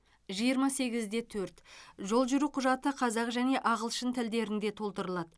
жиырма сегіз де төрт жол жүру құжаты қазақ және ағылшын тілдерінде толтырылады